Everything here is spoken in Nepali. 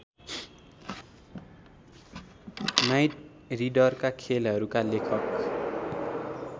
नाइटरिड्डरका खेलहरूका लेखक